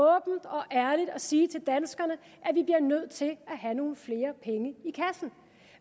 ærligt at sige til danskerne at vi bliver nødt til at have nogle flere penge i kassen